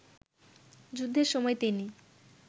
যুদ্ধের সময় তিনি